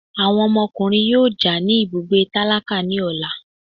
Awọn ọmọkùnrin yóò já ní ibùgbé tálákà ní ọla